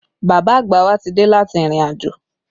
Bàbá àgbà wa ti dé láti ìrìnàjò